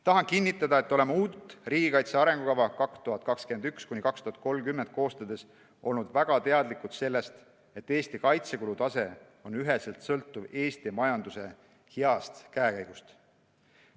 Tahan kinnitada, et oleme uut riigikaitse arengukava 2021–2030 koostades olnud väga teadlikud sellest, et Eesti kaitsekulu tase on üheselt sõltuv Eesti majanduse heast käekäigust.